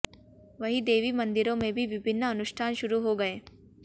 वहीं देवी मंदिरों में भी विभिन्न अनुष्ठान शुरू हो गए